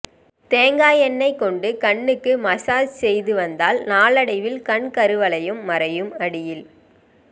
தேங்காய் எண்ணெய் கொண்டு கண்ணுக்கு மசாஜ் செய்து வந்தால் நாளடைவில் கண் கருவளையம் மறையும் அடியில்